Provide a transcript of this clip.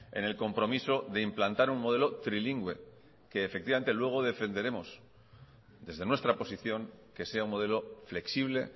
en el compromiso de implantar un modelo trilingüe que efectivamente luego defenderemos desde nuestra posición que sea un modelo flexible